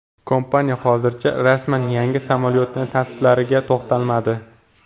Kompaniya hozircha rasman yangi samolyotning tavsiflariga to‘xtalmadi.